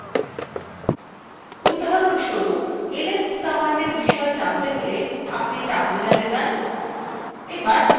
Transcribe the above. উদাহরণ স্বরূপ ls commandfor বিষয়ে জানতে হলে আপনি terminal যান